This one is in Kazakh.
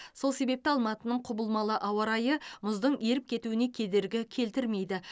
сол себепті алматының құбылмалы ауа райы мұздың еріп кетуіне кедергі келтірмейді